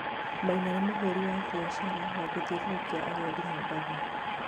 Maina nĩ mũhuri biashara wa gũthiũrirukia agendi Mombatha